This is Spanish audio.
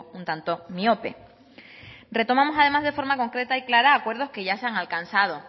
un tanto miope retomamos además de forma concreta y clara acuerdos que ya se han alcanzado